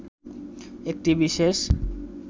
একটি বিশেষ